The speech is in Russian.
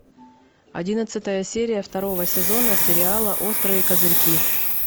одиннадцатая серия второго сезона сериала острые козырьки